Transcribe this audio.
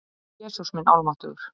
Jesús minn almáttugur!